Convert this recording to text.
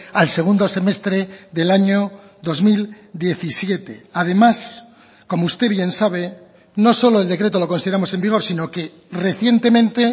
al segundo semestre del año dos mil diecisiete además como usted bien sabe no solo el decreto lo consideramos en vigor sino que recientemente